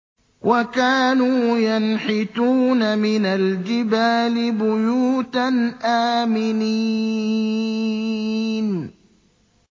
وَكَانُوا يَنْحِتُونَ مِنَ الْجِبَالِ بُيُوتًا آمِنِينَ